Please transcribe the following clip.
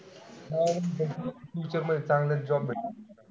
हा future मध्ये चांगलेच job भेटतील.